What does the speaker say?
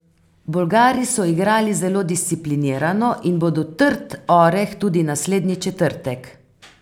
Bolgari so igrali zelo disciplinirano in bodo trd oreh tudi naslednji četrtek.